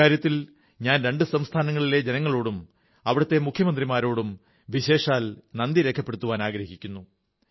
ഇക്കാര്യത്തിൽ ഞാൻ രണ്ട് സംസ്ഥാനങ്ങളിലെയും ജനങ്ങളോടും അവിടത്തെ മുഖ്യമന്ത്രിമാരോടും വിശേഷാൽ നന്ദി രേഖപ്പെടുത്തുവാനാഗ്രഹിക്കുന്നു